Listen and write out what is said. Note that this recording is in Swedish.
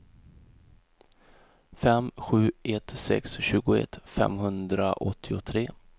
fem sju ett sex tjugoett femhundraåttiotre